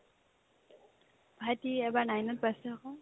ভাইটি এইবাৰ nine ত পাইছে আকৌ